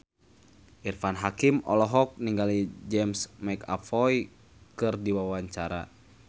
Irfan Hakim olohok ningali James McAvoy keur diwawancara